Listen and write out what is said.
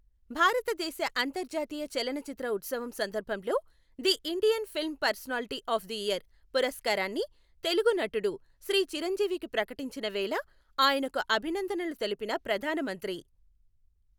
భారతదేశ అంతర్జాతీయ చలనచిత్ర ఉత్సవం సందర్భంలో the Indian film personality of the year పురస్కారాన్ని తెలుగు నటుడు శ్రీ చిరంజీవికి ప్రకటించిన వేళ ఆయనకు అభినందనలు తెలిపిన ప్రధాన మంత్రి